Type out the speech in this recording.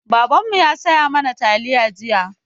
Babanmu ya saya mana taliya jiya.